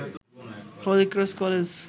Holy Cross college